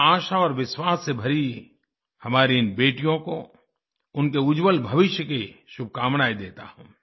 मैं आशा और विश्वास से भरी हमारी इन बेटियों को उनके उज्ज्वल भविष्य की शुभकामनाएँ देता हूँ